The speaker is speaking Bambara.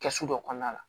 Kɛsu dɔ kɔnɔna la